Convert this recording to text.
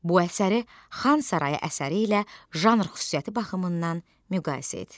Bu əsəri "Xan Sarayı" əsəri ilə janr xüsusiyyəti baxımından müqayisə et.